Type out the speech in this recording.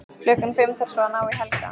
Klukkan fimm þarf svo að ná í Helga.